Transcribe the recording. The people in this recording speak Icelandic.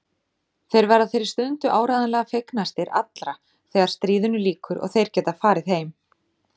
Þeir verða þeirri stundu áreiðanlega fegnastir allra þegar stríðinu lýkur og þeir geta farið heim.